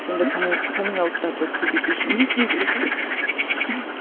сондай каминг ауттарды көбейту үшін не істеу керек